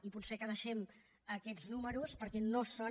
i potser que deixem aquests números perquè no són